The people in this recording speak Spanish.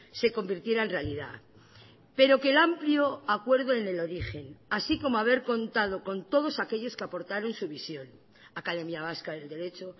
se convirtiera en realidad pero que el amplio acuerdo en el origen así como haber contado con todos aquellos que aportaron su visión academia vasca del derecho